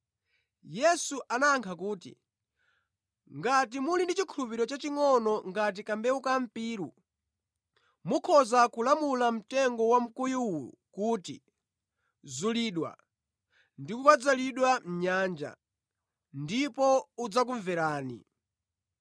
Yesu anayankha kuti, “Ngati muli ndi chikhulupiriro chachingʼono ngati kambewu kampiru, mukhoza kulamula mtengo wamkuyu uwu kuti, ‘Zulidwa ndi kukadzalidwa mʼnyanja,’ ndipo udzakumverani.